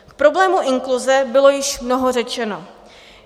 K problému inkluze bylo již mnoho řečeno.